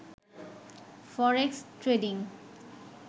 forex trading